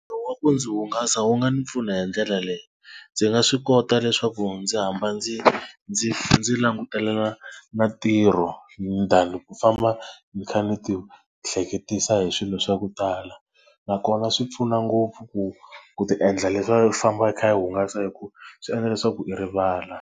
Ntirho wa ku ndzi hungasa wu nga ni pfuna hi ndlela leyi, ndzi nga swi kota leswaku ndzi hamba ndzi ndzi ndzi langutela na ntirho than ku famba ni kha ni ti ehleketisa hi swilo swa ku tala, nakona swi pfuna ngopfu ku ku tiendla leswaku u famba hi kha hi hungasa hikuva swi endla leswaku i rivala.